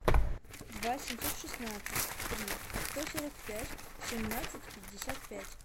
два семьсот шестнадцать три сто сорок пять семнадцать пятьдесят пять